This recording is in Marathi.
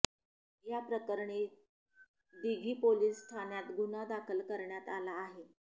याप्रकरणी दिघी पोलीस ठाण्यात गुन्हा दाखल करण्यात आला आहे